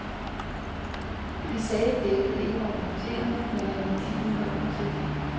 De sagde, dækket ikke var punkteret, men at ventilen var utæt.